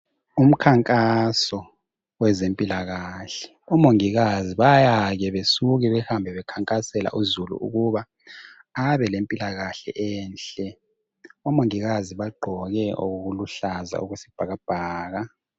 Umkhankaso wezempilakahle omongikazi bayake besuke behambe bekhankasela uzulu ukuba abe lempilakahle enhle. Omongikazi bagqoke okuluhlaza okwesibhakabhaka.